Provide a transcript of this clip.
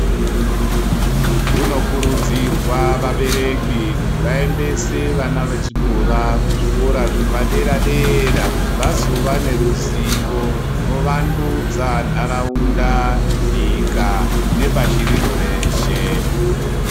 Kunokurudzirwa vabereki kuti vaendese vana vechikora kuzvikora zvepadera dera vazova neruzivo runowandudza ntaraunda, nyika nepashi rino reshe.